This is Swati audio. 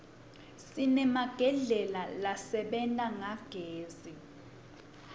sinemagedlela lasebenta ngagezi